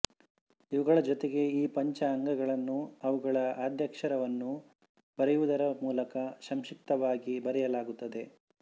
ಇವುಗಳ ಜೊತೆಗೆ ಈ ಪಂಚ ಅಂಗಗಳನ್ನು ಅವುಗಳ ಆದ್ಯಕ್ಷರವನ್ನು ಬರೆಯುವುದರ ಮೂಲಕ ಸಂಕ್ಷಿಪ್ತವಾಗಿ ಬರೆಯಲಾಗುತ್ತದೆ